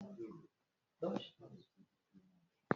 Wetara m ite ahụ.